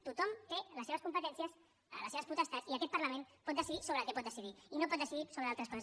tothom té les seves competències les seves potestats i aquest parlament pot decidir sobre el que pot decidir i no pot decidir sobre altres coses